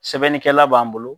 Sɛbɛnnikɛla b'an bolo